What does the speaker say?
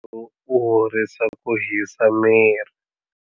Wo horisa ku hisa miri.